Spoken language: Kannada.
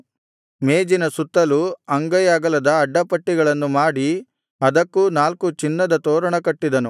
ಮೇಜಿನ ಸುತ್ತಲು ಅಂಗೈ ಅಗಲದ ಅಡ್ಡಪಟ್ಟಿಗಳನ್ನು ಮಾಡಿ ಅದಕ್ಕೂ ನಾಲ್ಕು ಚಿನ್ನದ ತೋರಣ ಕಟ್ಟಿದನು